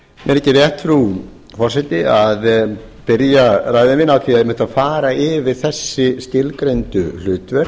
mér þykir rétt frú forseti að byrja ræðu mína einmitt á að fara yfir þessi skilgreindu hlutverk